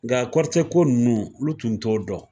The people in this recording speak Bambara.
Nga kɔrɔtɛ ko nunnu olu tun t'o dɔn.